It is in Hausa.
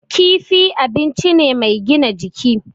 Kifi abun ci ne mai gina jiki.